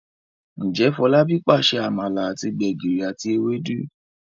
Njé Folabi pàṣẹ amala àti gbegiri àti Ewédú?